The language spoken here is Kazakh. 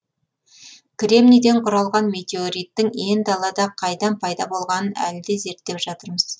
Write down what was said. кремнийден құралған метеориттің ен далада қайдан пайда болғанын әлі де зерттеп жатырмыз